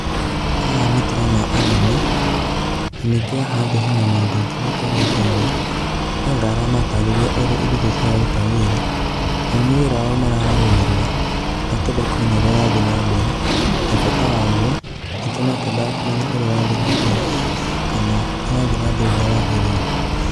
Haha ni ndĩrona anene, na ningĩ haha thĩ hena mundũ ũngĩ ũikarĩte thĩ, No anga aramatarĩria ũrĩa indo icio ciraruta wĩra, nao nĩ wĩra wao maraũrũmĩrĩra, makĩenda kũmenya ũrĩa ũrathíiĩ na mbere, na bata waguo. Ningĩ makĩendaga kũmenya ũrĩa ũrathiĩ na mbere kana nĩ ũrathiĩ na mbere ũrĩa wagĩrĩire.